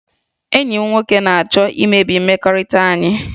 Enyi m nwoke na-achọ imebi mmekọrịta anyị